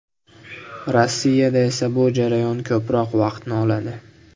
Rossiyada esa bu jarayon ko‘proq vaqtni oladi.